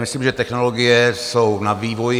Myslím, že technologie jsou na vývoji.